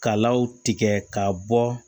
Kalaw tigɛ ka bɔ